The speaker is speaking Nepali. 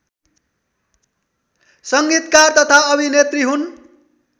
संगीतकार तथा अभिनेत्री हुन्